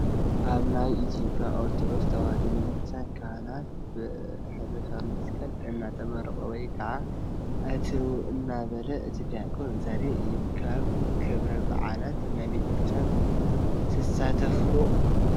ኣብ ናይ ኢ/ያ ኦርቶዶክስ ተዋህዶ ቤተ ክርስትያን ካህናት ብሕርፊ መስቀል እንትምሩቑ ወይ ከዓ አትው እንዳበለ እቲ ዲያቆን ዘርኢ እዩ፡፡ ካብ ክብረ ባዓላት ናይ ቤተ ክርስትያን ትሳተፉ ዶ?